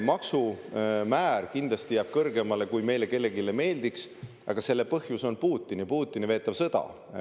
Maksumäär kindlasti jääb kõrgemale, kui meile kellelegi meeldiks, aga selle põhjus on Putin ja Putini veetav sõda.